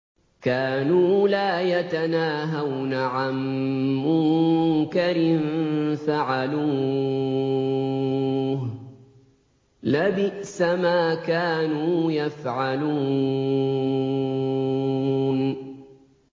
كَانُوا لَا يَتَنَاهَوْنَ عَن مُّنكَرٍ فَعَلُوهُ ۚ لَبِئْسَ مَا كَانُوا يَفْعَلُونَ